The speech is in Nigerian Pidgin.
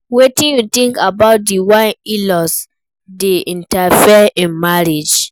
Wetin you think about di way in-laws dey interfere in marriage?